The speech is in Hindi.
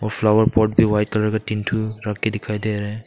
फ्लावर पॉट भी वाइट कलर का तीन ठो रख के दिखाई दे रहे हैं।